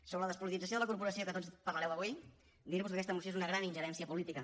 sobre la despolitització de la corporació de què tots parlareu avui dir vos que aquesta moció és una gran ingerència política